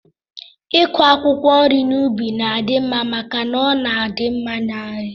Iku akwụkwọ nri n'ubi na-adị mma maka na ọ na-adị mma na nri